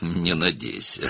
Ümid etmə,